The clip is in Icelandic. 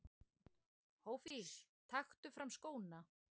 Hófí taktu fram skóna!!!!!!